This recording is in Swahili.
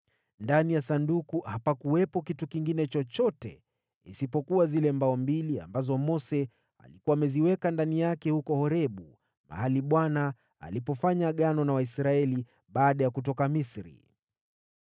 Ndani ya Sanduku hapakuwepo kitu kingine chochote isipokuwa zile mbao mbili ambazo Mose alikuwa ameziweka ndani yake huko Horebu, mahali ambapo Bwana alifanya Agano na Waisraeli baada ya kutoka Misri.